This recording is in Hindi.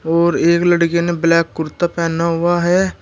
और एक लड़के ने ब्लैक कुर्ता पहना हुआ है।